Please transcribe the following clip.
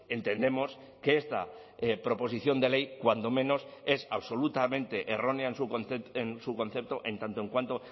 entendemos que esta proposición de ley cuando menos es absolutamente errónea en su concepto en tanto en cuanto